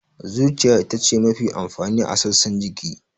Zuciya ita ce mafi amfani a sassan jiki.